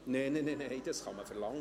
Nein, nein, das kann man verlangen.